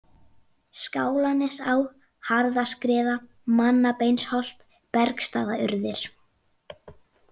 Skálanesá, Harðaskriða, Mannabeinsholt, Bergstaðaurðir